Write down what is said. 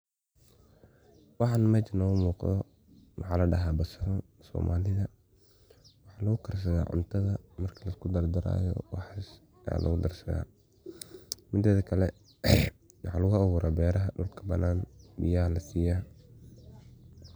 Waxan mesha noga muqdo waxa ladaha basal, somalidha, waxa lugu karsadha cuntadha marki lasku dardarayo waxas aya lugu darsadha midedha kale maxa lugu abura beeraha dulka banan biya lasiya.